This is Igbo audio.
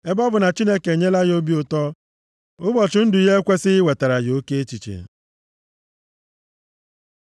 Ebe ọ bụ na Chineke enyela ya obi ụtọ, ụbọchị ndụ ya ekwesighị iwetara ya oke echiche.